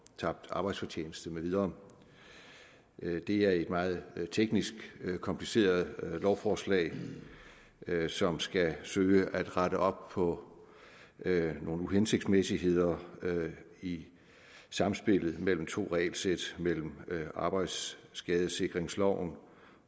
tabt arbejdsfortjeneste med videre det er et meget teknisk kompliceret lovforslag som skal søge at rette op på nogle uhensigtsmæssigheder i samspillet mellem to regelsæt mellem arbejdsskadesikringsloven